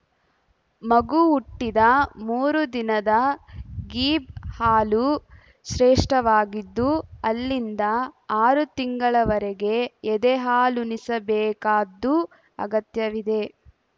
ಮಗು ಹುಟ್ಟಿದ ಮೂರು ದಿನದ ಗೀಬ್‌ ಹಾಲು ಶ್ರೇಷ್ಠವಾಗಿದ್ದು ಅಲ್ಲಿಂದ ಆರು ತಿಂಗಳವರೆಗೆ ಎದೆ ಹಾಲುಣಿಸಬೇಕಾದ್ದು ಅಗತ್ಯವಿದೆ